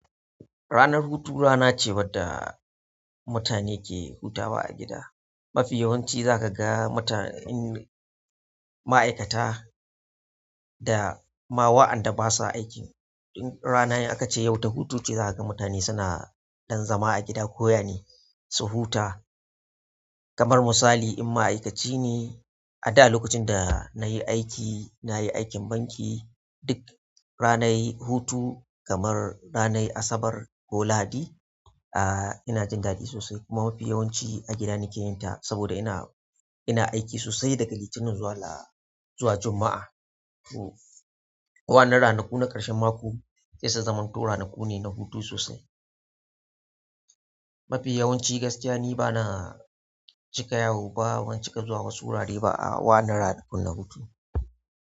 Ranar hutu rana ce wadda mutane ke hutawa a gida. Mafi yawanci za ka ga mutane, ma'aikata da ma wa'anda basa aik. Ranar akace yau ta hutu ce za ka ga mutane suna dan zama a gida ko yane su huta. Kamar misali in ma'aikaci ne a da lokacin da nayi aiki, nayi aikin banki duk ranar hutu kamar ranar Asabar ko Lahadi, ah ina jin daɗi sosai kuma mafi yawanci a gida nake yin ta saboda ina, ina aiki sosai daga Litinin zuwa la, zuwa Juma'a. To waɗannan ranaku na ƙarshen mako sai su zamto ranaku ne na hutu sosai. Mafi yawanci ni gaskiya bana cika yawo ba ban cika zuwa wasu wurare ba a waɗannan ranakun na hutu.